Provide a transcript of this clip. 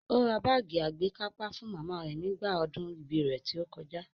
Ó ra báàgì àgbékápá fún màmá rẹ̀ nígbà ọdún ibí rẹ̀ tí ó kọjá